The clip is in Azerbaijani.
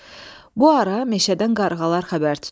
Bu ara meşədən qarğalar xəbər tutdular.